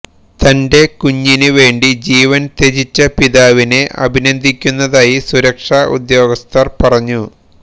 തന്റെ കൂഞ്ഞിന് വേണ്ടി ജീവന് ത്യജിച്ച പിതാവിനെ അഭിനന്ദിക്കുന്നതായി സുരക്ഷാ ഉദ്യോഗസ്ഥര് പറഞ്ഞു